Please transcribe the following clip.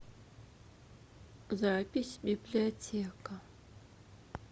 запись библиотека